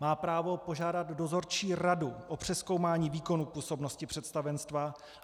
Má právo požádat dozorčí radu o přezkoumání výkonu působnosti představenstva.